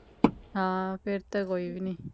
ਹਾਂ ਫੇਰ ਤੇ ਕੋਈ ਵੀ ਨੀ